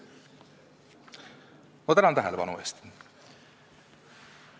Ma tänan tähelepanu eest!